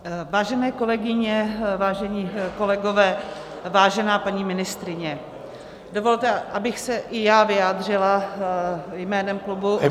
Vážené kolegyně, vážení kolegové, vážená paní ministryně, dovolte, abych se i já vyjádřila jménem klubu -